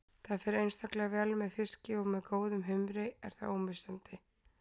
Það fer einstaklega vel með fiski og með góðum humri er það ómissandi.